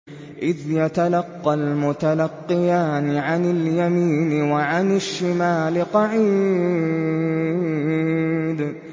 إِذْ يَتَلَقَّى الْمُتَلَقِّيَانِ عَنِ الْيَمِينِ وَعَنِ الشِّمَالِ قَعِيدٌ